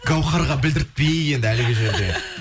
гауһарға білдіртпей енді әлгі жерде